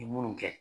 Ni munnu kɛ